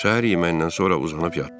Səhər yeməyindən sonra uzanıb yatdıq.